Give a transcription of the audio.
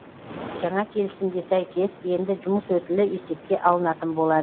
жаңа келісімге сәйкес енді жұмыс өтілі есепке алынатын болады